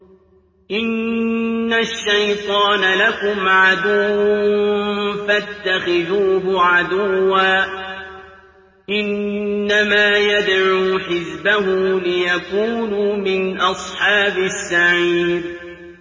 إِنَّ الشَّيْطَانَ لَكُمْ عَدُوٌّ فَاتَّخِذُوهُ عَدُوًّا ۚ إِنَّمَا يَدْعُو حِزْبَهُ لِيَكُونُوا مِنْ أَصْحَابِ السَّعِيرِ